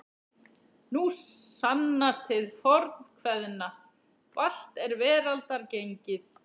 Nú sannast hið fornkveðna: Valt er veraldar gengið.